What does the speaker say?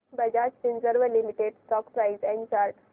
Bajaj Finserv limited stock price and chart